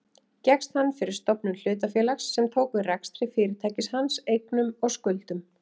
Gekkst hann fyrir stofnun hlutafélags sem tók við rekstri fyrirtækis hans, eignum og skuldum.